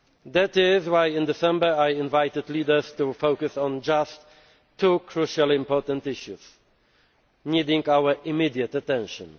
That is why, in December, I invited leaders to focus on just two crucially important issues needing our immediate attention.